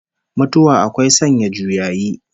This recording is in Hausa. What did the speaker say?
Mutuwa akwai sanya juyayi